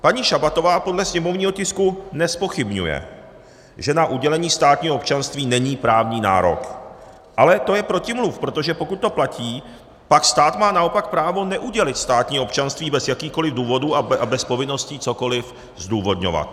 Paní Šabatová podle sněmovního tisku nezpochybňuje, že na udělení státního občanství není právní nárok, ale to je protimluv, protože pokud to platí, pak stát má naopak právo neudělit státní občanství bez jakýchkoliv důvodů a bez povinností cokoliv zdůvodňovat.